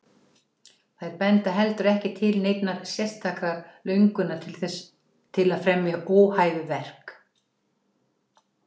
þær benda heldur ekki til neinnar sérstakrar löngunar til að fremja óhæfuverk